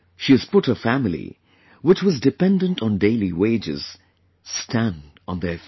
She has put her family, which was dependent on daily wages, stand on their feet